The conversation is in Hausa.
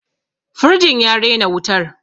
firjin ya rena wutar